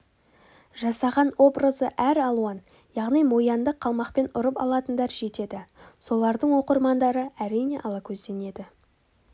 жасаған образы әр алуан яғни мо янды қалпақпен ұрып алатындар жетеді солардың оқырмандары әрине алакөзденеді